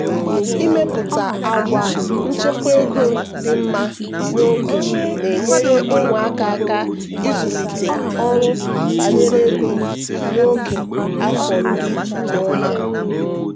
ịmepụta àgwà nchekwa ego dị mma n'oge na-enyere ụmụaka aka ịzụlite ọrụ banyere ego n'oge afọ iri na ụma.